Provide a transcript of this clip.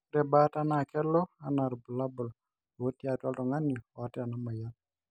ore baata naa kelo anaa irbulabul lotii atua oltungani oota inamoyian